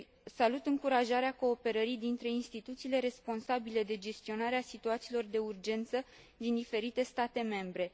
Salut încurajarea cooperării dintre instituțiile responsabile de gestionarea situațiilor de urgență din diferite state membre.